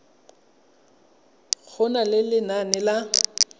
go na le lenane la